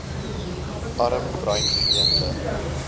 arm bruin gemeenskappe